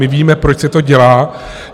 My víme, proč se to dělá.